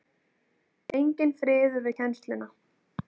Enginn friður við kennsluna.